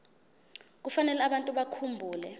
kufanele abantu bakhumbule